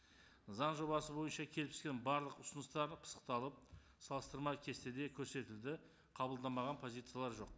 заң жобасы бойынша келіп түскен барлық ұсыныстар пысықталып салыстырма кестеде көрсетілді қабылдамаған позициялар жоқ